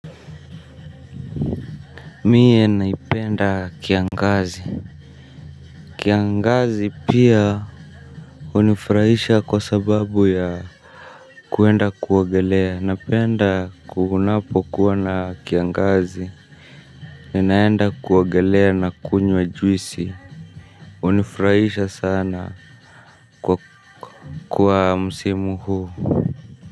Mie naipenda kiangazi kiangazi pia unifrahisha kwa sababu ya kuenda kuogelea napenda kuunapo kuwana kiangazi ni naenda kuogelea na kunyo ajuisi unifrahisha sana kwa kwa msimu huu.